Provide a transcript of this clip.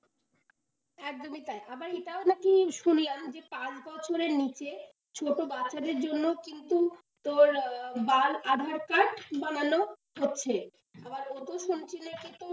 একদমই তাই আবার এইটাও নাকি শুনলাম যে পাঁচ বছরের নিচে ছোট বাচ্চাদের জন্য কিন্তু, তোর, বাল aadhaar card বানানো হচ্ছে। আবারও তো শুনছিলে,